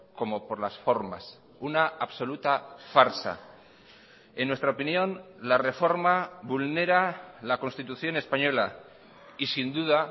como por las formas una absoluta farsa en nuestra opinión la reforma vulnera la constitución española y sin duda